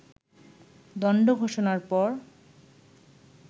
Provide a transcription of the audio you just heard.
দণ্ড ঘোষণার পর